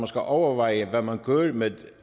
skal overveje hvad man gør med